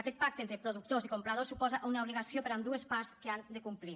aquest pacte entre productors i compradors suposa una obligació per a ambdues parts que han de complir